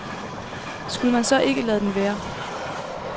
Skulle man så ikke lade den være?